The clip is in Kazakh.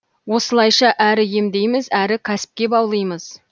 осылайша әрі емдейміз әрі кәсіпке баулимыз